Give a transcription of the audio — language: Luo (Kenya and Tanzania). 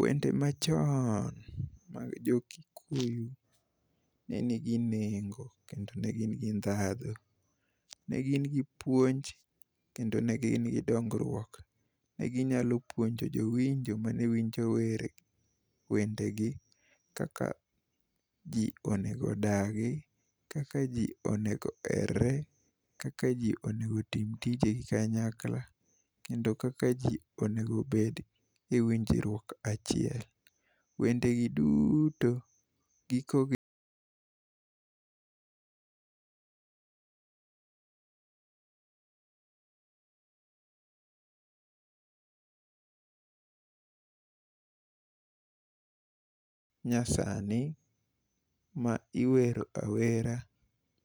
Wende machoon ma jo Kikuyu ne nigi nengo kendo ne gin gi ndhadhu .Ne gin gi puonj kendo ne gin gi dongruok . Ne ginyalo pouonjo jowinjo mane winjo were wende gi kaka jii onego odagi, kaka jii onego erre, kaka jii onego tim tijegi kanyakla kendo kaka jii onego bed e winjruok achiel. Wende gi duuto giko gi manyasani ma iwero awera